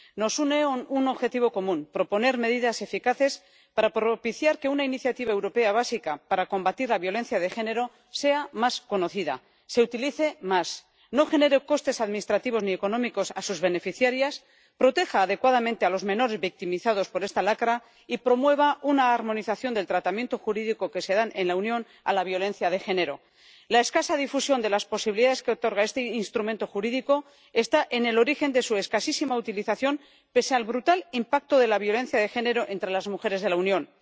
Nos une un objetivo común proponer medidas eficaces para propiciar que una iniciativa europea básica para combatir la violencia de género sea más conocida, se utilice más, no genere costes administrativos ni económicos a sus beneficiarias, proteja adecuadamente a los menores victimizados por esta lacra y promueva una armonización del tratamiento jurídico que se da en la Unión a la violencia de género. La escasa difusión de las posibilidades que otorga este instrumento jurídico está en el origen de su escasísima utilización, pese al brutal impacto de la violencia de género entre las mujeres de la Unión.